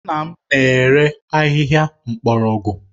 Nna m na-ere ahịhịa mgbọrọgwụ